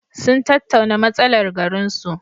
Sun tattauna matsalar garinsu.